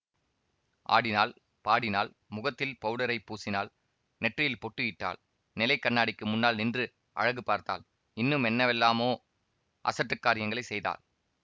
ஆடினாள் பாடினாள் முகத்தில் பவுடரைப் பூசினாள் நெற்றியில் பொட்டு இட்டாள் நிலை கண்ணாடிக்கு முன்னால் நின்று அழகு பார்த்தாள் இன்னும் என்னவெல்லாமோ அசட்டுக் காரியங்களை செய்தாள்